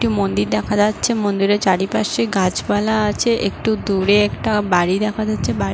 একটি মন্দির দেখা যাচ্ছে। মন্দিরের চারিপাশে গাছপালা আছে। একটু দূরে একটা বাড়ি দেখা যাচ্ছে। বাড়ি--